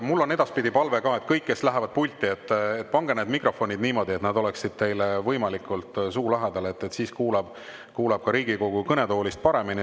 Mul on edaspidi palve kõigile, kes lähevad pulti: pange need mikrofonid niimoodi, et need oleksid võimalikult teie suu lähedal, siis kuuleb Riigikogu kõnetoolist paremini.